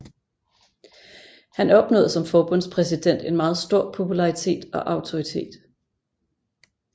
Han opnåede som forbundspræsident en meget stor popularitet og autoritet